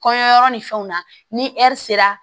Kɔɲɔ yɔrɔ ni fɛnw na ni ɛri sera